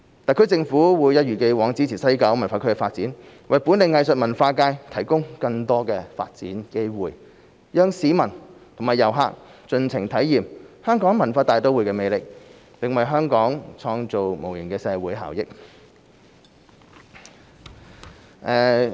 特區政府會一如既往支持西九文化區的發展，為本地藝術文化界提供更多發展機會，讓市民和遊客盡情體驗香港文化大都會的魅力，並為香港創造無形的社會效益。